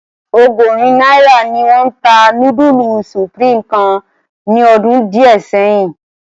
Ọgọrin naira ni wọn ta nudulu Supreme kan ni ọdun diẹ sẹyin.